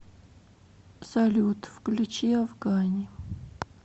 салют включи афгани